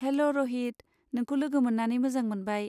हेल' रहित, नोंखौ लोगो मोन्नानै मोजां मोनबाय।